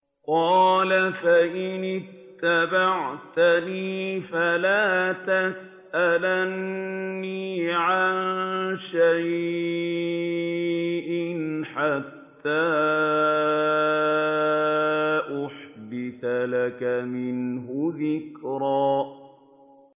قَالَ فَإِنِ اتَّبَعْتَنِي فَلَا تَسْأَلْنِي عَن شَيْءٍ حَتَّىٰ أُحْدِثَ لَكَ مِنْهُ ذِكْرًا